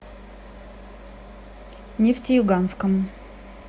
нефтеюганском